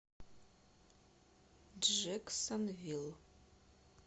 джэксонвилл